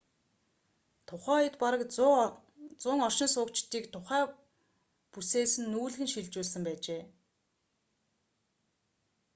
тухай үед бараг 100 оршин суугчдыг тухай бүсээс нүүлгэн шилжүүлсэн байжээ